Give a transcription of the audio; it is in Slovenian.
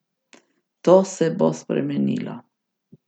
To se bo spremenilo.